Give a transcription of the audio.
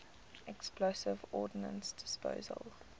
explosive ordnance disposal